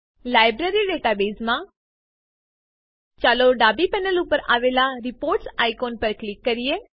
library ડેટાબેઝમાં ચાલો ડાબી પેનલ ઉપર આવેલા રિપોર્ટ્સ આઇકોન ઉપર ક્લિક કરીએ